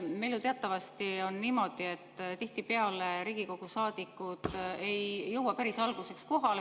Meil on ju teatavasti niimoodi, et tihtipeale Riigikogu saadikud ei jõua päris alguseks kohale.